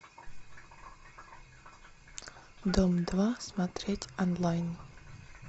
дом два смотреть онлайн